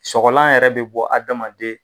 Sɔgɔlan yɛrɛ be bɔ adamaden